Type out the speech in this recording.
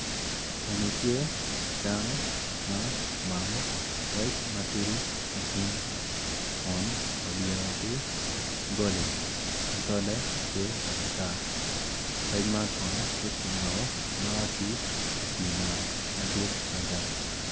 Eni tye kiketogi i ot mading adada kun i kin jami magi tye odero ma kicweyo acweya med ki aditi bene ma kicweyo acweya kun a ki i pii nam madit mada.